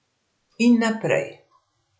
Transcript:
In naprej.